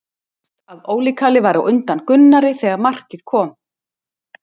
Ljóst að Óli Kalli var á undan Gunnari þegar markið kom.